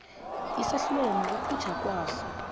isahlulelo nokukhutjhwa kwaso